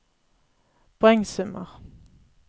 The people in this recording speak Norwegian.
poengsummer